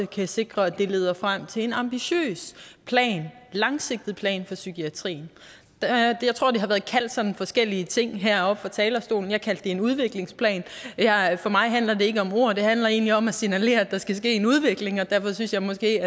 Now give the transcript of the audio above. kan sikre at det leder frem til en ambitiøs langsigtet plan for psykiatrien jeg tror det har været kaldt sådan forskellige ting heroppe fra talerstolen jeg kaldte det en udviklingsplan for mig handler det ikke om ord det handler egentlig om at signalere at der skal ske en udvikling og derfor synes jeg måske